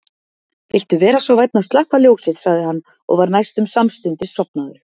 Viltu vera svo vænn að slökkva ljósið sagði hann og var næstum samstundis sofnaður.